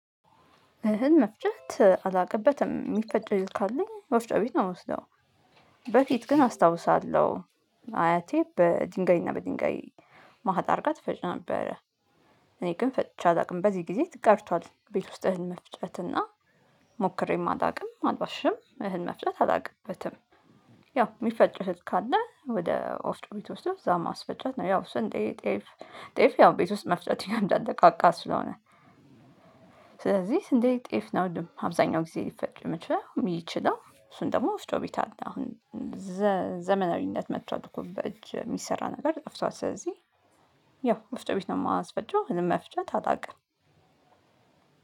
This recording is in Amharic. እህል መፍጨት አላውቅበትም የሚፈጭ ካለም ወፍጮ ቤት ነው የምወስደው። በፊት ግን አስታውሳለሁ አያቴ በድንጋይ እና በድንጋይ መካከል አድርጋ ትፈጭ ነበረ። እኔ ግን ፈጭቼ አላውቅም በዚህ ጊዜ ቀርቷል። ቤት ውስጥ እህል መፍጨት እና ሞክሬም አላውቅም። አልዋሽም እህል መፍጨት አላውቅበትም። ያው የሚፈጭ እህል ካለ ወደ ወፍጮ ቤት ወስዶ እዛ ማስፈጨት ነው። ያው ስንዴ ጤፍ ጤፍ ያው ቤት ውስጥ መፍጨት ይከብዳል ደቃቃ ስለሆነ። ስለዚህ ስንዴ ጤፍ ነው ም አብዛኛው ጊዜ ሊፈጭ የሚችለው እሱን ደግሞ ወፍጮ ቤት አለ። አሁን ዘ ዘመናዊነት መቷል እኮ በእጅ የሚሰራ ነገር ጠፍቷል። ስለዚህ ያው ወፍጮ ቤት ነው የማስፈጨው። እህልም መፍጨት አላውቅም።